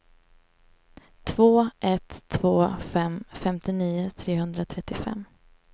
två ett två fem femtionio trehundratrettiofem